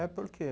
É, por quê?